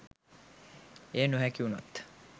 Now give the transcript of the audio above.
එය නොහැකි වුනොත්